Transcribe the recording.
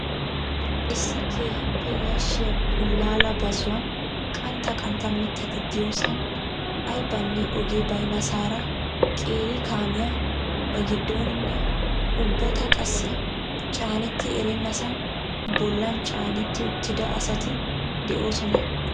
Issi keehiippe yashshiya bulaala bazzuwan qantta qantta mittati diyosan aybanne ogee baynnasaara qeeri kaamiya ba giddoninne ubbakka qassi asi caanetti erennasan bollan caannetti uttida asati de'oosona!!